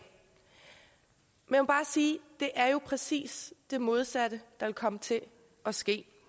men jeg vil bare sige det er jo præcis det modsatte der vil komme til at ske